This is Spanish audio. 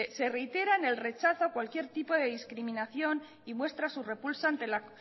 se reitera en el rechazo a cualquier tipo de discriminación y muestra su repulsa ante la